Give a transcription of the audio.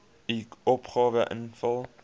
u opgawe invul